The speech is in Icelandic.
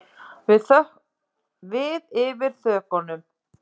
Við yfir þökunum.